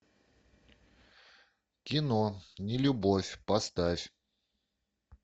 кино нелюбовь поставь